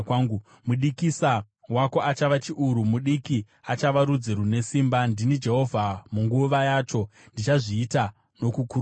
Mudikisa wako achava chiuru, mudiki achava rudzi rune simba. Ndini Jehovha, munguva yacho ndichazviita nokukurumidza.”